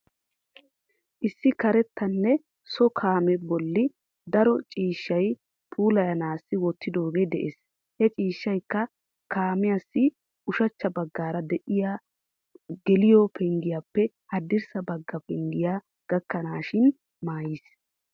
Issi karettanne so kaamee bolli daro ciishshay puulayanassi wottidoogee de'ees. He ciishshaykka kaamessi ushachcha baggaara de'iyaa geliyo penggiyaappe haddirssa bagga penggiya gakkanaashin maayis.